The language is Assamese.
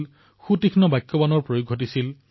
বিভিন্ন স্তৰত তিক্ততা বৃদ্ধিৰ প্ৰয়াস কৰা হৈছিল